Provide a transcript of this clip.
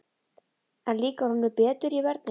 En líkar honum betur í vörninni?